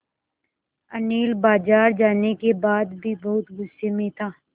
अनिल बाज़ार जाने के बाद भी बहुत गु़स्से में था